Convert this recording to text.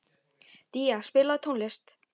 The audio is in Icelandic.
Día, spilaðu tónlist.